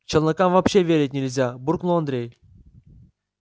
челнокам вообще верить нельзя буркнул андрей